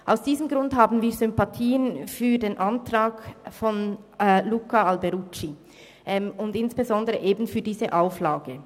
Aus diesem Grund haben wir Sympathien für den Antrag von Luca Alberucci und insbesondere eben für diese Auflage.